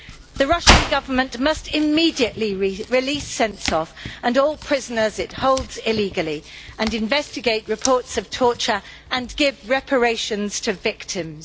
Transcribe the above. The Russian Government must immediately release Sentsov and all prisoners it holds illegally, investigate reports of torture and give reparations to victims.